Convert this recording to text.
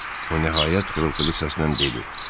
O nəhayət xırıltılı səslə dedi.